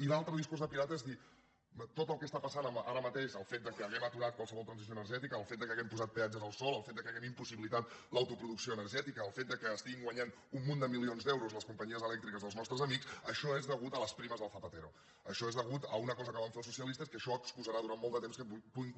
i l’altre discurs de pirata és dir tot el que està passat ara mateix el fet que hàgim aturat qualsevol transició energètica el fet que hàgim posat peatges al sol el fet que hàgim impossibilitat l’autoproducció energètica el fet que estiguin guanyant un munt de milions d’euros les companyies elèctriques dels nostres amics això és a causa de les primes del zapatero això és a causa d’una cosa que van fer els socialistes que això excusarà durant molt de temps que puguin